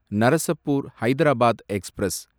Narsapur Hyderabad express